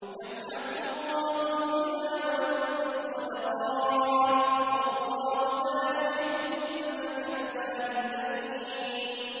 يَمْحَقُ اللَّهُ الرِّبَا وَيُرْبِي الصَّدَقَاتِ ۗ وَاللَّهُ لَا يُحِبُّ كُلَّ كَفَّارٍ أَثِيمٍ